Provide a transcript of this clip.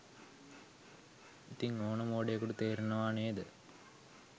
ඉතින් ඕන මෝඩයෙකුට තේරෙනව නේද